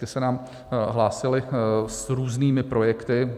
Ty se nám hlásily s různými projekty.